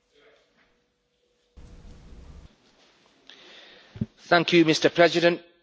Mr President, these atrocities against the Rohingya community have to stop.